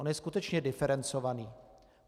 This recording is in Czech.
On je skutečně diferencovaný.